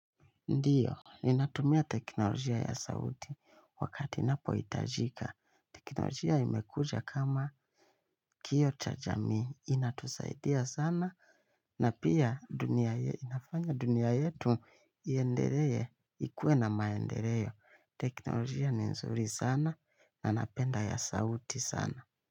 Ndio, ninatumia teknolojia ya sauti wakati inpohitajika. Teknolojia imekuja kama kioo cha jamii, inatusaidia sana. Na pia dunia ye, inafanya dunia yetu, iendelee, ikuwe na maendeleo. Teknolojia ni nzuri sana, na napenda ya sauti sana.